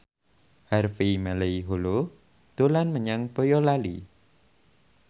Harvey Malaiholo dolan menyang Boyolali